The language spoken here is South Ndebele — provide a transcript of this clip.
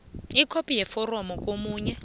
ikhophi yeforomo komunye